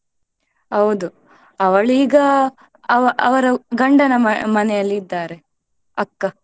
ಹೌದು ಅವಳು ಈಗ ಅವ~ ಅವರ ಗಂಡನ ಮ~ ಮನೆಯಲ್ಲಿ ಇದ್ದಾರೆ ಅಕ್ಕ.